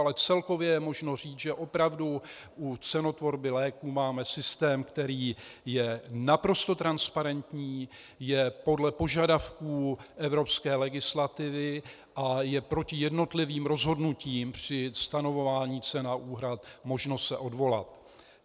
Ale celkově je možno říct, že opravdu u cenotvorby léků máme systém, který je naprosto transparentní, je podle požadavků evropské legislativy a je proti jednotlivým rozhodnutím při stanovování cen a úhrad možnost se odvolat.